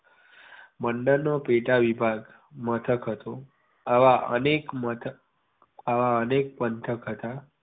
મંડળ નો પેટા વિભાગ મથક હતો આવા અનેક મથક આવા અનેક પંથક હતા